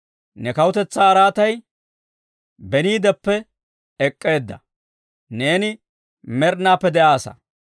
Ne kawutetsaa araatay beniideppe ek'k'eedda; neeni med'inaadeppe de'aassa.